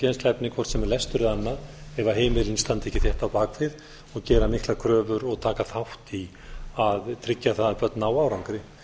kennsluefni hvort sem það er lestur eða annað ef heimilin standa ekki þétt á bak við og gera miklar kröfur og taka þátt í að tryggja það að börn nái árangri